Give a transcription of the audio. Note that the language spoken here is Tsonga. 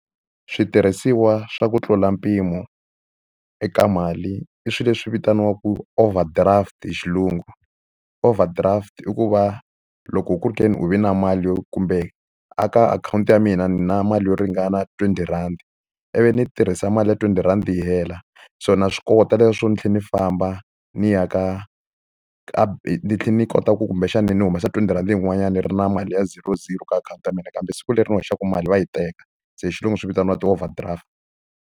Switirhisiwa swa ku tlula mpimo eka mali, i swilo leswi vitaniwaka overdraft hi xilungu. Overdraft i ku va loko ku ri ke ni u ve na mali kumbe eka akhawunti ya mina na mali yo ringana twenty rhandi, ivi ni yi tirhisa mali ya twenty rhandi yi hela, so na swi kota leswiya swo ni tlhela ni famba ni ya ka ka ni tlhela ni yi kota ku kumbexani ni humesa twenty rhandi yin'wanyana ni ri na mali ya zero zero ka akhawunti ya mina. Kambe siku leri hoxaka mali va yi teka. Se hi xilungu swi vitaniwa ti-overdraft.